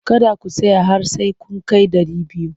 Kada ku tsaya har sai kun kai dari biyu!